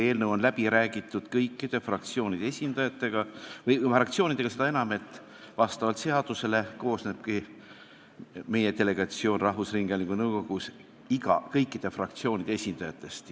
Eelnõu on läbi räägitud kõikide fraktsioonidega, seda enam, et vastavalt seadusele koosnebki meie esindus rahvusringhäälingu nõukogus kõikide fraktsioonide esindajatest.